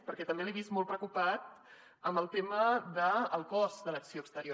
perquè també l’he vist molt preocupat amb el tema del cost de l’acció exterior